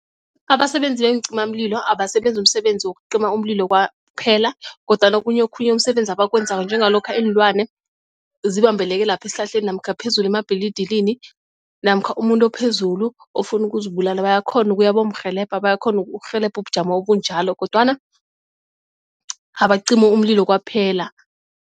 Abasebenzi beencimamlilo abasebenzi umsebenzi wokucima umlilo kwaphela kodwana okunye okhunye umsebenzi abakwenzako njengalokha ilwane zibambeleke lapho esihlahleni namkha phezulu emabhilidilini namkha umuntu ophezulu ofuna ukuzibulala bayakghona ukuya bayomurhelebha bayakghona ukurhelebha ubujamo obunjalo kodwana abacimi umlilo kwaphela.